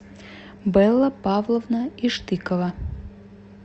белла павловна иштыкова